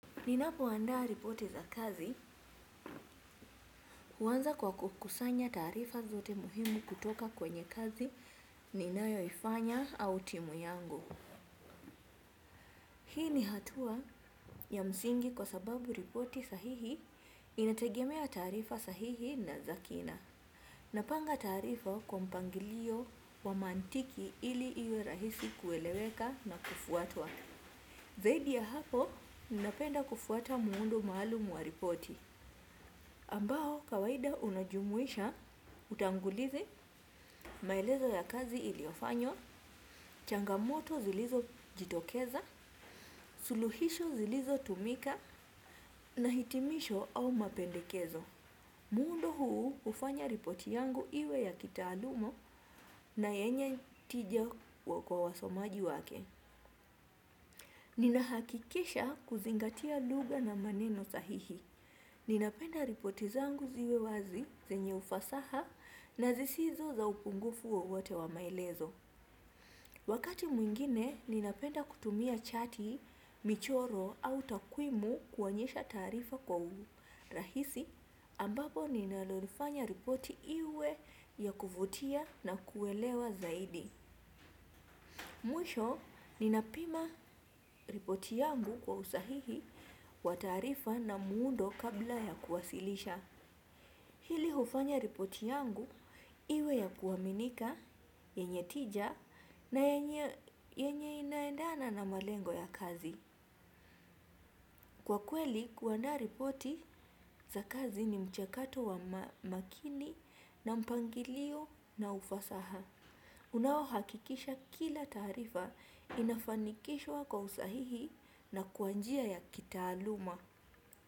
Ninapoandaa ripoti za kazi huanza kwa kukusanya taarifa zote muhimu kutoka kwenye kazi ninayoifanya au timu yangu. Hii ni hatua ya msingi kwa sababu ripoti sahihi inategemea taarifa sahihi na za kina. Napanga taarifa kwa mpangilio wa mantiki ili iwe rahisi kueleweka na kufuatwa. Zaidi ya hapo, ninapenda kufuata muundo maalum wa ripoti, ambao kawaida unajumuisha, utangulizi, maelezo ya kazi iliofanywa, changamoto zilizo jitokeza, suluhisho zilizo tumika, na hitimisho au mapendekezo. Muundo huu hufanya ripoti yangu iwe ya kitaaluma na yenye tija kwa wasomaji wake. Nina hakikisha kuzingatia lugha na maneno sahihi. Ninapenda ripoti zangu ziwe wazi zenye ufasaha na zisizo za upungufu wowote wa maelezo. Wakati mwingine, ninapenda kutumia chati, michoro au takwimu kuonyesha taarifa kwa urahisi ambapo ninalorifanya ripoti iwe ya kuvutia na kuelewa zaidi. Mwisho ninapima ripoti yangu kwa usahihi wa taarifa na muundo kabla ya kuwasilisha. Hili hufanya ripoti yangu iwe ya kuaminika, yenye tija na yenye inaendana na malengo ya kazi. Kwa kweli kuandaa ripoti za kazi ni mchakato wa makini na mpangilio na ufasaha. Unao hakikisha kila taarifa inafanikishwa kwa usahihi na kwa njia ya kitaaluma.